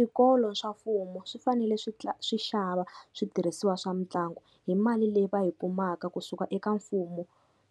Swikolo swa mfumo swi fanele swi xava switirhisiwa swa mitlangu hi mali leyi va yi kumaka kusuka eka mfumo